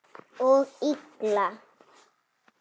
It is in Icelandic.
Og illa.